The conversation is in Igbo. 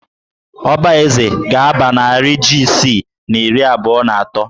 Ọba eze ga-aba narị jí isii na iri abụọ na atọ